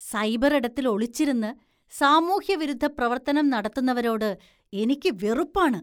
സൈബറിടത്തില്‍ ഒളിച്ചിരുന്ന് സാമൂഹ്യവിരുദ്ധ പ്രവര്‍ത്തനം നടത്തുന്നവരോട് എനിക്ക് വെറുപ്പാണ്.